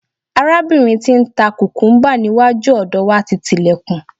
arabinrin ti n ta kukumba ni iwaju ọdọ wa ti ti ilekun